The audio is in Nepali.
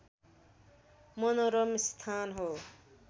मनोरम स्थान हो